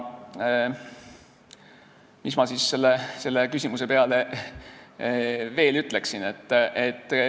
Mis ma selle küsimuse peale veel ütleksin?